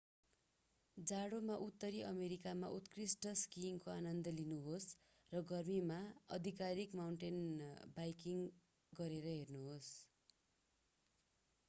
जाडोमा उत्तरी अमेरिकामा उत्कृष्ट स्कीइङको आनन्द लिनुहोस् र गर्मीमा आधिकारिक माउन्टेन बाइकिङ गरेर हेर्नुहोस्